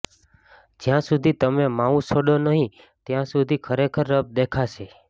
જ્યાં સુધી તમે માઉસ છોડો નહીં ત્યાં સુધી ખરેખર રફ દેખાશે